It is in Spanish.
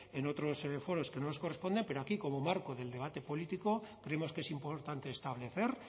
en otros foros que no nos corresponden pero aquí como marco del debate político creemos que es importante establecer